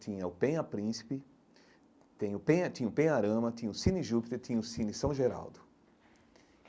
Tinha o Penha Príncipe, tem o Penha tinha o Penharama, tinha o Cine Júpiter, tinha o Cine São Geraldo.